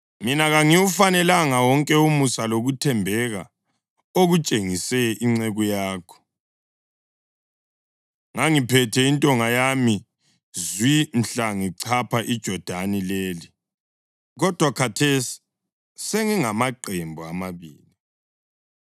mina kangiwufanelanga wonke umusa lokuthembeka okutshengise inceku yakho. Ngangiphethe intonga yami zwi mhla ngichapha iJodani leli, kodwa khathesi sengingamaqembu amabili.